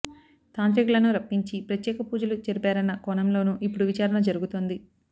తాంత్రికులను రప్పించి ప్రత్యేక పూజలు జరిపారన్న కోణంలోనూ ఇప్పుడు విచారణ జరుగుతోంది